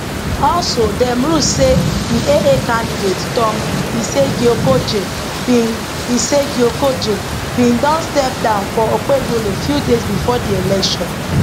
also dem rule say di aa candidate tom iseghhiokojie bin iseghhiokojie bin don step down for okpebholo few days bifore di election